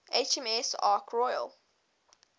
hms ark royal